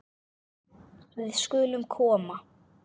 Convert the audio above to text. Við skulum koma